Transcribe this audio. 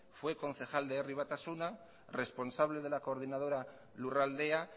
fue concejal de herri batasuna responsable de la coordinadora lurraldea